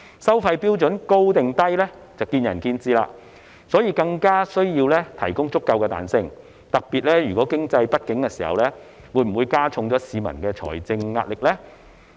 收費標準屬於高或低是見仁見智，所以更加需要提供足夠彈性，特別是當經濟不景時，會否加重了市民的財政壓力呢？